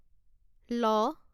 ল